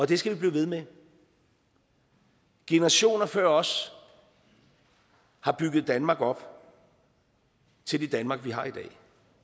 det skal vi blive ved med generationer før os har bygget danmark op til det danmark vi har i dag